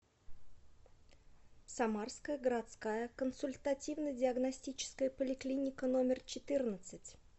самарская городская консультативно диагностическая поликлиника номер четырнадцать